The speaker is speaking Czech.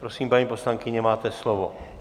Prosím, paní poslankyně, máte slovo.